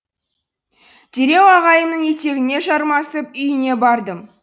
дереу ағайымның етегіне жармасып үйіне бардым